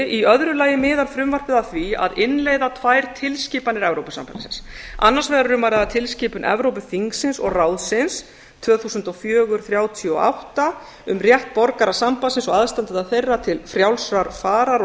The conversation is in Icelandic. í öðru lagi miðar frumvarpið að því að innleiða tvær tilskipanir evrópusambandsins annars vegar er um að ræða tilskipun evrópuþingsins og evrópuráðsins tvö þúsund og fjögur þrjátíu og átta um rétt borgara sambandsins og aðstandenda þeirra til frjálsrar farar og